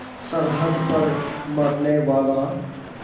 सरहद पर मरनेवाला